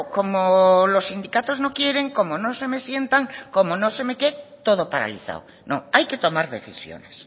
como los sindicatos no quieren como no se me sientan como no sé me qué todo paralizado no hay que tomar decisiones